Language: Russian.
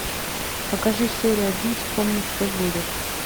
покажи серию один вспомни что будет